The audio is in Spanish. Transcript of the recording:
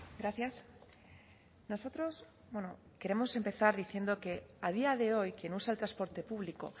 gracias nosotros bueno queremos empezar diciendo que a día de hoy quien usa el transporte público